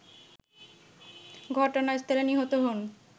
ঘটনাস্থলে নিহত হন